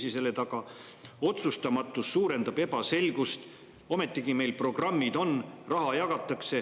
otsustamatus suurendab ebaselgust, kuid ometigi meil programmid on, raha jagatakse.